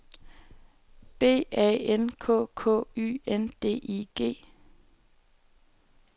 B A N K K Y N D I G